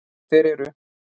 Þeir eru.